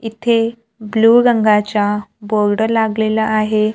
इथे ब्लू रंगाच्या बोर्ड लागलेला आहे.